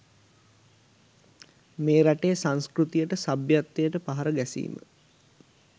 මේ රටේ සංස්කෘතියට සභ්‍යත්වයට පහර ගැසීම